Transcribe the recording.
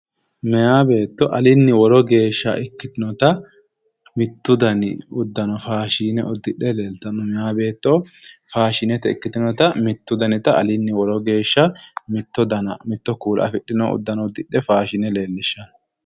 Meya beetto alinni woro geeshsha ikkitinota mittu dani uddano faashine uddidhe leeltanno. Meya beetto faashinete ikkitinota mittu danita alinni woro geeshsha mitto dana mitto kuula afidhino uddano uddidhe faashine leellishshanno.